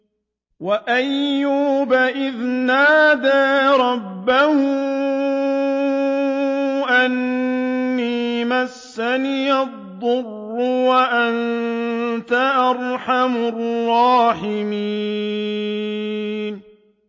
۞ وَأَيُّوبَ إِذْ نَادَىٰ رَبَّهُ أَنِّي مَسَّنِيَ الضُّرُّ وَأَنتَ أَرْحَمُ الرَّاحِمِينَ